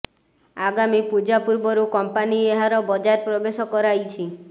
ଆଗାମୀ ପୂଜା ପୂର୍ବରୁ କଂପାନୀ ଏହାର ବଜାର ପ୍ରବେଶ କରାଇଛି